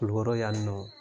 Kulikɔrɔ yan nɔ